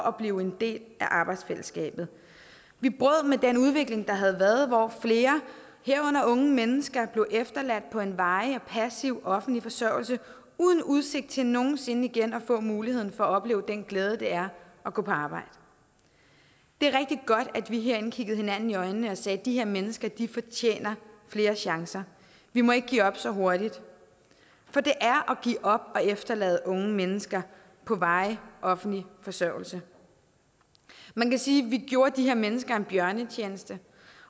at blive en del af arbejdsfællesskabet vi brød med den udvikling der havde været hvor flere herunder unge mennesker blev efterladt på en varig og passiv offentlig forsørgelse uden udsigt til nogen sinde igen at få muligheden for at opleve den glæde det er at gå på arbejde det er rigtig godt at vi herinde kiggede hinanden i øjnene og sagde de her mennesker fortjener flere chancer vi må ikke give op så hurtigt for det er at give op at efterlade unge mennesker på varig offentlig forsørgelse man kan sige at vi gjorde de her mennesker en bjørnetjeneste